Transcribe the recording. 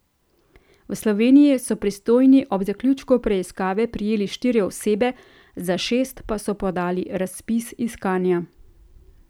V Sloveniji so pristojni ob zaključku preiskave prijeli štiri osebe, za šest pa so podali razpis iskanja.